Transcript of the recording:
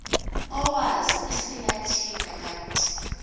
owazi isilatina kanti